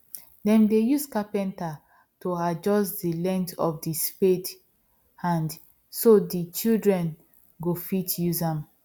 them dey use carpenter to adjust the length of the spade hand so the children go fit use am